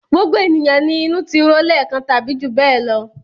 Gbogbo ènìyàn ni inú ti ro lẹ́ẹ̀kan tàbí jù bẹ́ẹ̀ lọ.